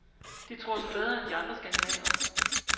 De tror sig bedre end de andre skandinavere.